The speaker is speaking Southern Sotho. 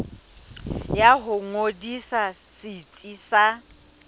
ya ho ngodisa setsi sa